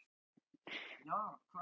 Dvöldu erlendis og því sviptir bótum